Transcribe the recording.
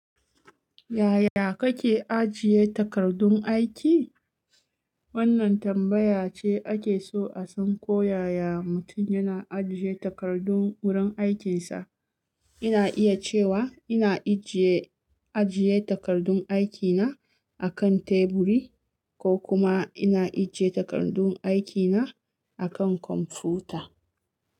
Yaya kake ajiye takardun aiki? Wannan tambaya ce ake so a san ko yaya mutum yana ajiye takardun wurin aikinsa. Ina iya cewa ina ajie takardun aikina a kan teburi ko kuma ina ajiye takardun aikina a kan kwamfuta.